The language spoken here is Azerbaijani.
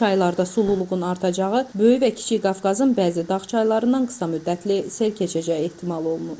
Çaylarda sululuğun artacağı, Böyük və Kiçik Qafqazın bəzi dağ çaylarından qısa müddətli sel keçəcəyi ehtimal olunur.